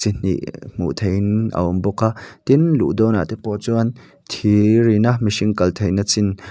hnih hmuh theihin a awm bawk a tin luh dawn ah te pawh chuan thir in a mihring kal theihna chin--